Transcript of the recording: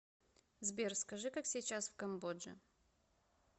сбер скажи как сейчас в камбодже